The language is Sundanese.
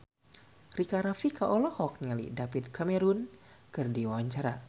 Rika Rafika olohok ningali David Cameron keur diwawancara